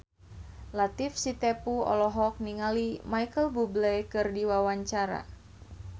Latief Sitepu olohok ningali Micheal Bubble keur diwawancara